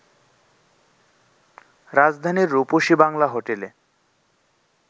রাজধানীর রূপসী বাংলা হোটেলে